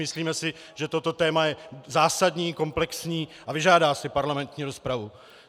Myslíme si, že toto téma je zásadní, komplexní a vyžádá si parlamentní rozpravu.